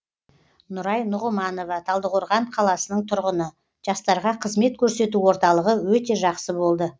нұрай нұғыманова талдықорған қаласының тұрғыны жастарға қызмет көрсету орталығы өте жақсы болды